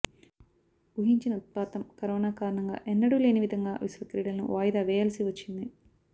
ఊహించని ఉత్పాతం కరోనా కారణంగా ఎన్నడూ లేని విధంగా విశ్వ క్రీడలను వాయిదా వేయాల్సి వచ్చింది